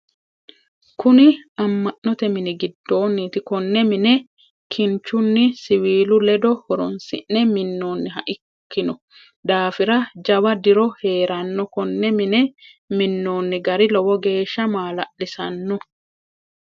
Kunni ama'note minni gidoonniti konne minne kinchunni siwiilu ledo horoonsi'ne minoonniha ikino daafira jawa diro heerano. Konne minne minoonni gari lowo geesha maa'lalisano.